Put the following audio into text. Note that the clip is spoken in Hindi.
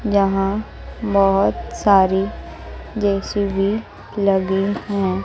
यहां बहोत सारी जे_सी_बी लगी हैं।